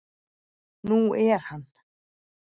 Nú er hann